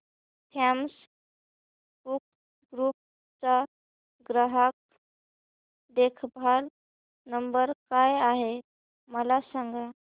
Thomas Cook group चा ग्राहक देखभाल नंबर काय आहे मला सांगा